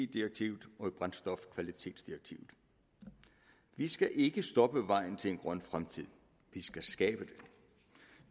direktivet og brændstofkvalitetsdirektivet vi skal ikke stoppe vejen til en grøn fremtid vi skal skabe den